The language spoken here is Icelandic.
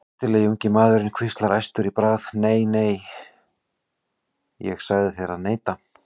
Snyrtilegi ungi maðurinn hvíslar æstur í bragði: Nei, nei, ég sagði þér að neita